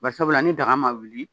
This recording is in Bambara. Bari sabula ni daga ma wili